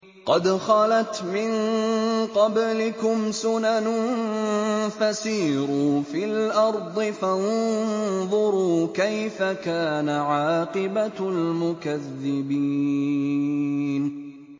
قَدْ خَلَتْ مِن قَبْلِكُمْ سُنَنٌ فَسِيرُوا فِي الْأَرْضِ فَانظُرُوا كَيْفَ كَانَ عَاقِبَةُ الْمُكَذِّبِينَ